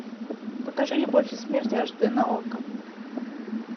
покажи любовь и смерть аш д на окко